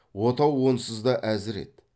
отау онсыз да әзір еді